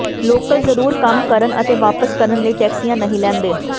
local ਜ਼ਰੂਰ ਕੰਮ ਕਰਨ ਅਤੇ ਵਾਪਸ ਕਰਨ ਲਈ ਟੈਕਸੀਆਂ ਨਹੀਂ ਲੈਂਦੇ